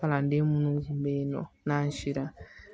Kalanden minnu tun bɛ yen nɔ n'an sera